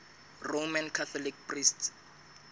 roman catholic priests